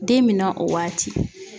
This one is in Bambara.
Den min na o waati.